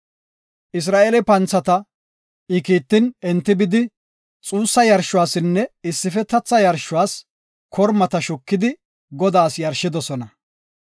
Isra7eele panthata I kiittin, enti bidi xuussa yarshuwanne issifetetha yarshuwas kormata shukidi, Godaas yarshidosona.